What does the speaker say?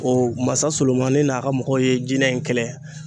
O masa Solomani n'a ka mɔgɔw ye jinɛ in kɛlɛ